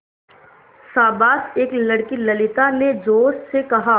शाबाश एक लड़की ललिता ने जोश से कहा